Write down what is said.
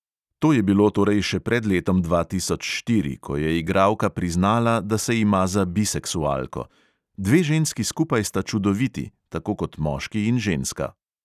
To je bilo torej še pred letom dva tisoč štiri, ko je igralka priznala, da se ima za biseksualko: "dve ženski skupaj sta čudoviti, tako kot moški in ženska."